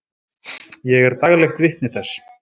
Ég er daglegt vitni þess.